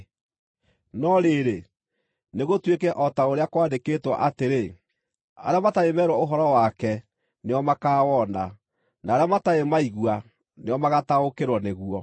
No rĩrĩ, nĩgũtuĩke o ta ũrĩa kwandĩkĩtwo, atĩrĩ: “Arĩa matarĩ meerwo ũhoro wake nĩo makaawona, na arĩa matarĩ maigua nĩo magaataũkĩrwo nĩguo.”